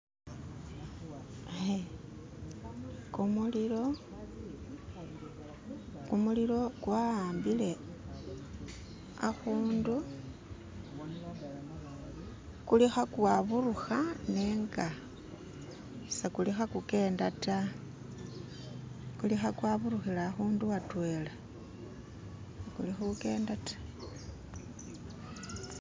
kumulilo, kumulilo kwa'ambile akhundu kuli khakwaburuha nenga sekuli khakukenda ta kuli khakwaburuhila akhundu atweela kuli khukenda ta.